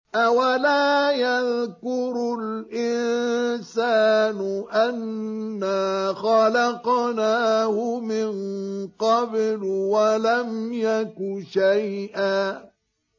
أَوَلَا يَذْكُرُ الْإِنسَانُ أَنَّا خَلَقْنَاهُ مِن قَبْلُ وَلَمْ يَكُ شَيْئًا